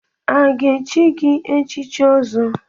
A ga-echi gị echichi Ọzọ?